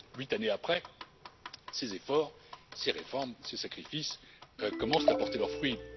Huit années après, ces efforts, ces réformes, ces sacrifices commencent à porter leurs fruits.